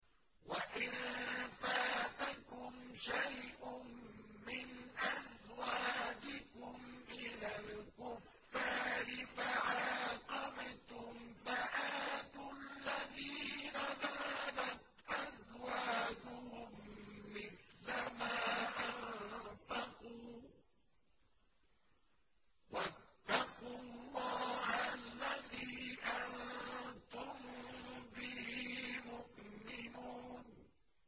وَإِن فَاتَكُمْ شَيْءٌ مِّنْ أَزْوَاجِكُمْ إِلَى الْكُفَّارِ فَعَاقَبْتُمْ فَآتُوا الَّذِينَ ذَهَبَتْ أَزْوَاجُهُم مِّثْلَ مَا أَنفَقُوا ۚ وَاتَّقُوا اللَّهَ الَّذِي أَنتُم بِهِ مُؤْمِنُونَ